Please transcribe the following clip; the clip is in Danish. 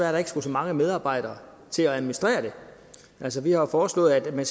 at der ikke skulle så mange medarbejdere til at administrere det altså vi har jo foreslået at man